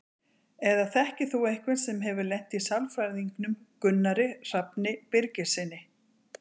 Eða þekkir þú einhvern sem hefur lent í sálfræðingnum Gunnari Hrafni Birgissyni?